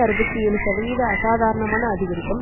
அறுபத்தி ஏழு சதவீத அசாதாரணமான அதிகரிப்பும்